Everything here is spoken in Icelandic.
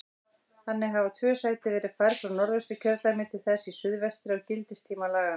Þannig hafa tvö sæti verið færð frá Norðvesturkjördæmi til þess í suðvestri á gildistíma laganna.